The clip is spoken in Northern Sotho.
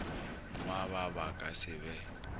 ngwaba ba ka se be